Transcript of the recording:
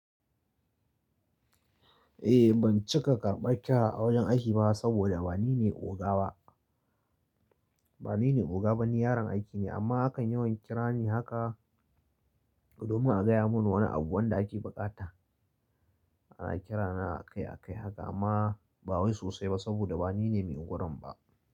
Eh ban cika karɓar kira a wajen aiki ba saboda ba nine oga ba. Ba nine oga ba nine yaron aiki ne amma akan yawan kira ni haka domin a gaya mun wani abu wanda ake bukata ana kirana akai akai haka amma ba wai sosai ba saboda ba nine mai ingwarin ba.